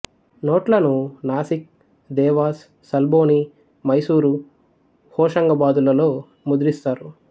నోట్లను నాసిక్ దేవాస్ సల్బోని మైసూరు హోషంగాబాదు లలో ముద్రిస్తారు